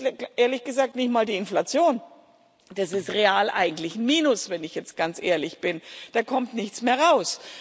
das ist, ehrlich gesagt, nicht einmal die Inflation, das ist real eigentlich Minus, wenn ich jetzt ganz ehrlich bin da kommt nichts mehr raus.